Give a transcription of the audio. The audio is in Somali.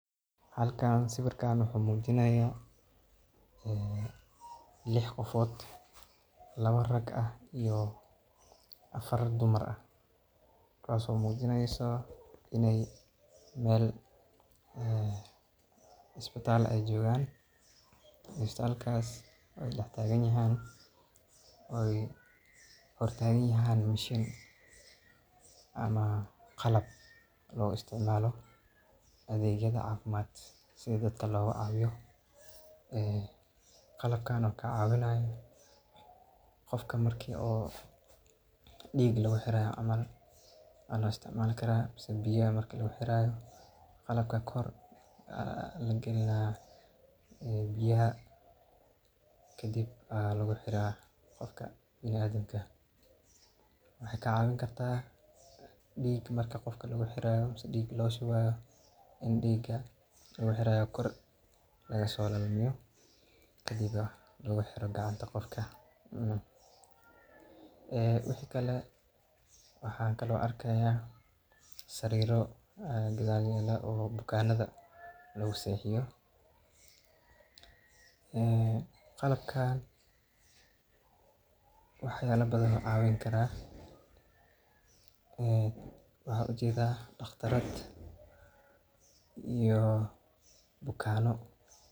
Halkan sawiirkaan wuxuu mujinaaya lix qofood laba rag ah iyo afar Dumar ah, kuwaas oo mujineyso inaay meel isbitaal joogan, isbitaalkaas aay dex taagan yahaan aay hor tagan yahaan mashin ama qalab loo isticmaala adeegyada cafimaad si dadka looga caawiyo, qalabkan oo kacawinayo qofka marka diiga lagu xiraayo mise biyaha lagu xiraayo, qalabka kor ayaa lagalinaa biyaha kadib ayaa lagu xiraa qofka biniadamka, waxeey kaa cawin karta diig marka qofka lagu xiraayo ama loo shubaayo in diiga kor laga soo lalmiyo kadibna lagu xiro gacanta qofka, wixi kale waxaa kale oo aan arkaaya sariiro gadaal yaala oo bukaanada lagu seexiyo, qalabkan wax yaaba badan ayuu cawin karaa, waxaan ujeeda daqtarad iyo bukaano.